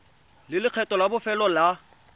le lekgetho la bofelo la